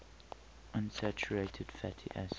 unsaturated fatty acids